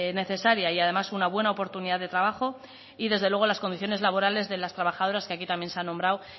necesaria y además una buena oportunidad de trabajo y desde luego las condiciones laborales de las trabajadoras que aquí también se ha nombrado